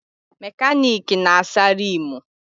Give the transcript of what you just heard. Mekaniki na-asa riimu.